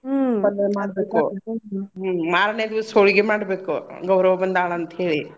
ಪಲ್ಲೇ ಮಾಡ್ಬೇಕು ಹ್ಮ್ ಮಾರ್ನೆ ದೀವ್ಸ್ ಹೋಳ್ಗಿ ಮಾಡ್ಬೇಕು ಗೌರವ್ವ ಬಂದಾಳ್ ಅಂತ್ಹೇಳಿ.